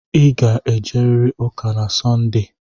Ị ga-ejerịrị ụka na sọnde!